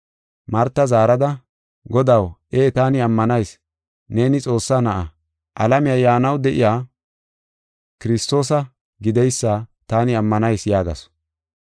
Marta zaarada, “Godaw, ee taani ammanayis! Neeni Xoossaa Na7aa, alamiya yaanaw de7iya Kiristoosa gideysa taani ammanayis” yaagasu.